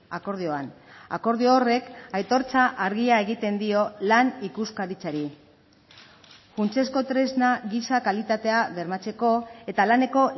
akordioan akordio horrek aitortza argia egiten dio lan ikuskaritzari funtsezko tresna gisa kalitatea bermatzeko eta laneko